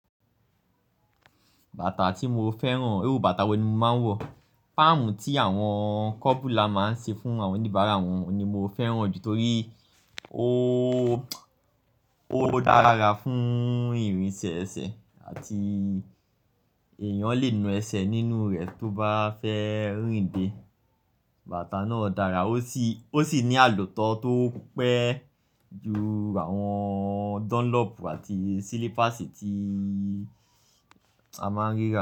Bàtà tí mo fẹ́ràn, irú bàtà wo ni mo máa ń wọ̀? Pámù tí àwọn kọ́bùla máa ń ṣe fún àwọn oníbàárà wọn ni mo fẹ́ràn ju torí ó, ó dára fún ìrìnsẹ̀ ẹsẹ̀ àti èèyàn lè nu ẹsẹ̀ nínú rẹ̀ tó bá fẹ́ rìnde. Bàtà náà dára, ó sì, ó sì ní àlòtọ́ tó pẹ́ ju àwọn Dunlop àti Silipasi tí a máa ń rí lọ.